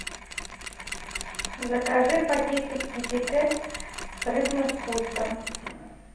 закажи пакетик китикет с рыбным вкусом